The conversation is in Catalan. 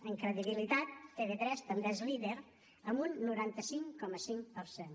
en credibilitat tv3 també és líder amb un noranta cinc coma cinc per cent